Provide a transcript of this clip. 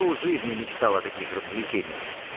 пол жизни мечтал о таких развлечениях